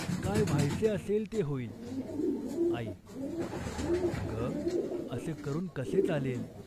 काय व्हायचे असेल ते होईल !" आई "अग, असे करून कसे चालेल ?